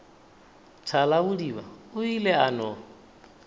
thalabodiba o ile a no